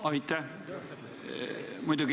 Aitäh!